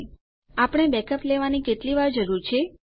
કેટલી વાર આપણે બેકઅપ લેવાની જરૂર છે